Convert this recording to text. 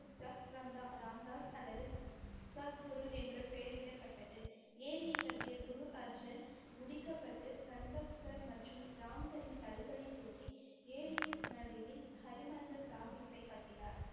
Chuck Ramdas அல்லது சத்குரு என்று பெயரிடப்பட்டது. ஏரியை கட்டிய குரு அர்ஜென் முடிக்கப்பட்டு சந்தோக்சர் மற்றும் ராம்சரின் கல்களை தோண்டி ஏரியின் நடுவில் ஹரிமந்திர் சாஹிபை கட்டினார்.